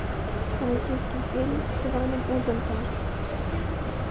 российский фильм с иваном ургантом